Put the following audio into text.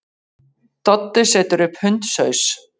Doddi setur upp hundshaus.